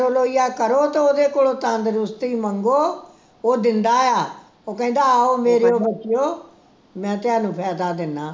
ਬੋਲੋ ਯਾ ਕਰੋ ਤੇ ਉਦੇ ਕੋਲੋਂ ਤੰਦਰੁਸਤੀ ਮੰਗੋ ਉਹ ਦਿੰਦਾ ਆ ਉਹ ਕਹਿੰਦਾ ਆਓ ਮੇਰੇ ਬੱਚਿਓ ਮੈਂ ਤੁਹਾਨੂੰ ਫਾਇਦਾ ਦਿੰਦਾ